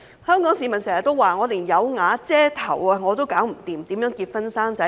香港市民經常說連有瓦遮頭也做不到，更何況結婚生子。